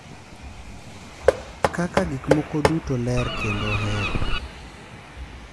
Kaka gik moko duto ler kendo ohero.